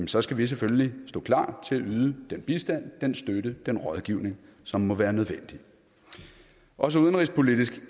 så skal vi selvfølgelig stå klar til at yde den bistand den støtte den rådgivning som må være nødvendig også udenrigspolitisk